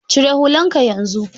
Cire hullan ka yanzu!